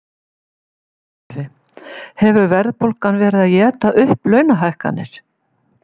Sölvi: Hefur verðbólgan verið að éta upp launahækkanir?